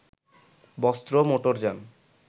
বস্ত্র, মোটরযান